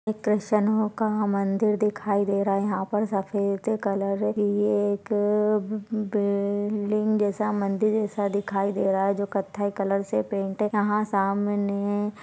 इथ शनो का मंदिर दिखाई दे रहा यहाँ पर सफेद कलर की ए एक बिल्डिंग जैसा मंदिर जैसा दिखाई दे रहा जो कत्थई कलर से पेंट यहाँ सामने--